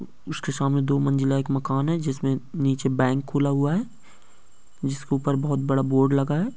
उसके सामने दो मंज़िला एक मकान है जिसमे नीचे बैंक खुला हुआ है जिस के ऊपर बहुत बड़ा बोर्ड लगा है।